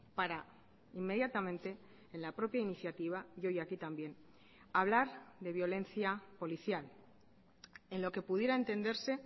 para inmediatamente en la propia iniciativa y hoy aquí también hablar de violencia policial en lo que pudiera entenderse